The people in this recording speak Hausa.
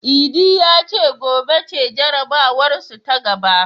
Idi ya ce gobe ce jarabawarsu ta gaba.